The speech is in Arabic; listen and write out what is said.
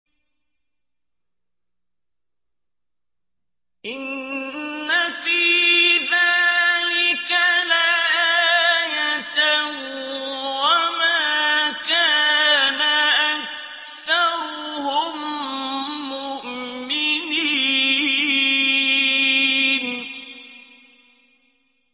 إِنَّ فِي ذَٰلِكَ لَآيَةً ۖ وَمَا كَانَ أَكْثَرُهُم مُّؤْمِنِينَ